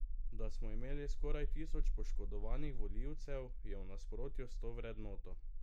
Da smo imeli skoraj tisoč poškodovanih volivcev, je v nasprotju s to vrednoto.